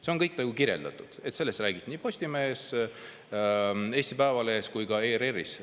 See on kõik kirjas, sellest räägiti nii Postimehes, Eesti Päevalehes kui ka ERR-is.